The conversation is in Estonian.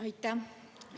Aitäh!